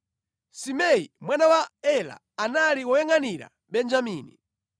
Simei mwana wa Ela, anali woyangʼanira Benjamini;